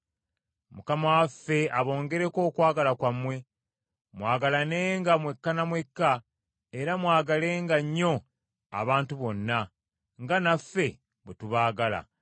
Mukama waffe aboongereko okwagala kwammwe, mwagalanenga mwekka na mwekka era mwagalenga nnyo abantu bonna, nga naffe bwe tubaagala,